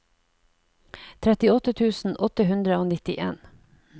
trettiåtte tusen åtte hundre og nittien